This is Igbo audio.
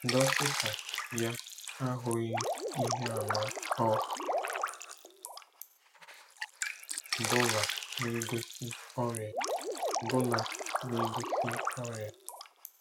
Dọkịta ya ahụghị ihe àmà ọ bụla na-egosi ọrịa. bụla na-egosi ọrịa.